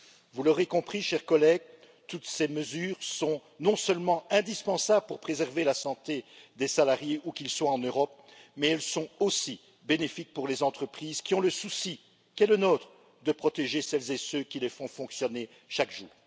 Vous l'aurez compris, chers collègues, toutes ces mesures sont non seulement indispensables pour préserver la santé des salariés où qu'ils soient en Europe, mais elles sont aussi bénéfiques pour les entreprises qui ont le souci qui est le nôtre de protéger celles et ceux qui les font fonctionner chaque jour.